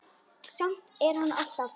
Samt telur hann alltaf.